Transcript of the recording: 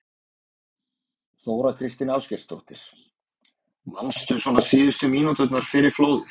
Þóra Kristín Ásgeirsdóttir: Manstu svona síðustu mínúturnar fyrir flóðið?